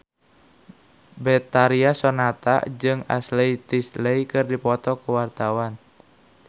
Betharia Sonata jeung Ashley Tisdale keur dipoto ku wartawan